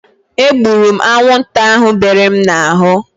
E gburu m anwụnta ahu bere m n'ahụ